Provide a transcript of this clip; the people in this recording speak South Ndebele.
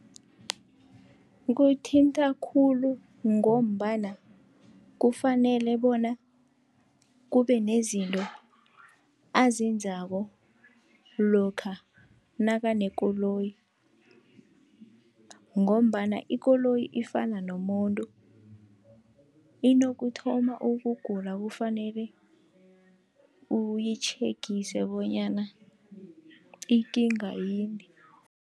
Kuyithinta khulu, ngombana kufanele bona kube nezinto azenzako lokha nakanekoloyi, ngombana ikoloyi ifana nomuntu inokuthoma ukugula kufanele uyitjhegise bonyana ikinga yini.